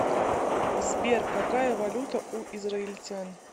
сбер какая валюта у израильтян